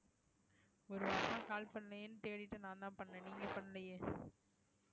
ஒரு வாரமா call பண்ணலையேன்னு தேடிட்டு நான்தான் பண்ணேன் நீங்களே பண்ணலையே